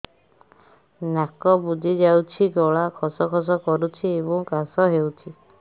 ନାକ ବୁଜି ଯାଉଛି ଗଳା ଖସ ଖସ କରୁଛି ଏବଂ କାଶ ହେଉଛି